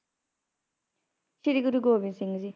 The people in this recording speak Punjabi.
ਸ਼੍ਰੀ ਗੁਰੂ ਗੋਬਿੰਦ ਸਿੰਘ ਜੀ